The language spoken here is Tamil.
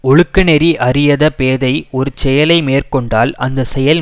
ஒழுக்க நெறி அறியத பேதை ஒரு செயலை மேற்கொண்டால் அந்த செயல்